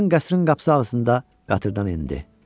Hendon qəsrinin qapısı arasında qatırda nindi.